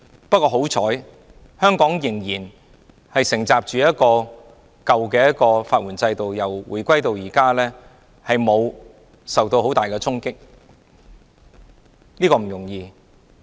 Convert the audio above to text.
不過，幸好香港仍承襲舊有的法援制度，由回歸至今，沒有受到很大的衝擊，這是不容易的。